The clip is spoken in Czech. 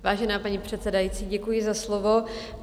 Vážená paní předsedající, děkuji za slovo.